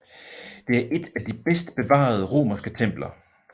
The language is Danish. Det er et af de bedst bevarede romerske templer